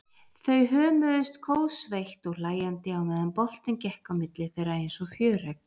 Þau hömuðust kófsveitt og hlæjandi á meðan boltinn gekk á milli þeirra einsog fjöregg.